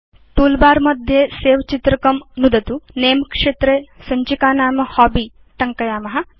toolbar मध्ये Save चित्रकं नुदतु Name क्षेत्रे सञ्चिकानाम हॉबी इति टङ्कयेम